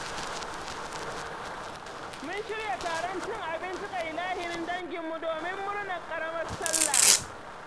Mun shirya taron cin abinci ga ilahirin danginmu domin murnar ƙaramar Sallah.